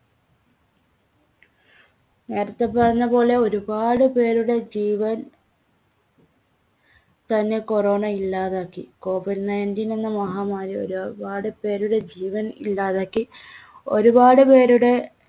നേരത്തെ പറഞ്ഞപോലെ ഒരുപാട് പേരുടെ ജീവൻ തന്നെ corona ഇല്ലാതാക്കി. covid nineteen എന്ന മഹാമാരി ഒരുപാടുപേരുടെ ജീവൻ ഇല്ലാതാക്കി. ഒരുപാട് പേരുടെ